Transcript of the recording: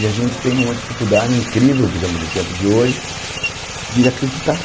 E a gente tem uma dificuldade incrível, por exemplo, no tempo de hoje, de acreditar.